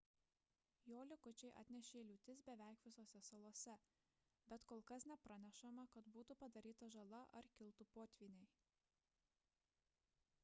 jo likučiai atnešė liūtis beveik visose salose bet kol kas nepranešama kad būtų padaryta žala ar kiltų potvyniai